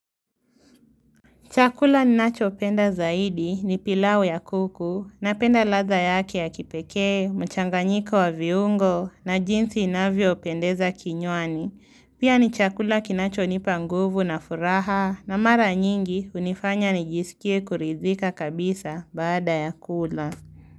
Chakula ninachopenda zaidi ni pilau ya kuku, napenda ladha yake ya kipekee, mchanganyiko wa viungo na jinsi inavyopendeza kinywani. Pia ni chakula kinachonipa nguvu na furaha na mara nyingi hunifanya nijisikie kuridhika kabisa baada ya kula.